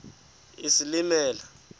isilimela